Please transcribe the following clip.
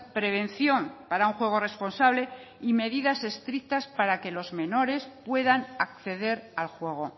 prevención para un juego responsable y medidas estrictas para que los menores puedan acceder al juego